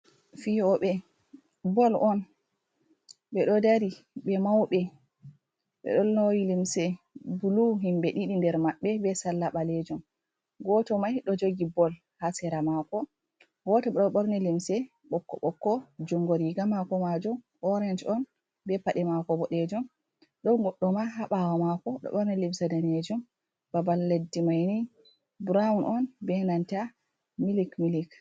Fiyoɓe bol on ɓeɗo dari ɓe mauɓe ɓeɗo lowi limse blu himbe ɗiɗi nder maɓɓe be salla ɓalejum goto mai ɗo jogi bol ha sera mako goto bo ɗo borni limse ɓokko-ɓokko jungo riga mako majum orange on be paɗe mako boɗejum ɗon goɗɗo ma ɗo ha ɓaawo mako ɗo ɓorni limse danejum babal leddi maini brown on be nanta milik-milik.